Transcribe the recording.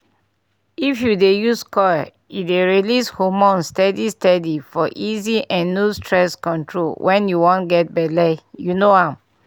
if u dey use coil e dey release hormones steady steady for easy and no stress control wen u wan get belle u know am